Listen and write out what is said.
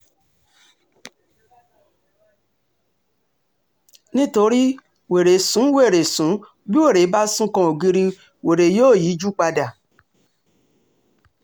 nítorí wèrè sún wèrè sùn bí wèrè bá sún kan ògiri wèrè yóò yíjú padà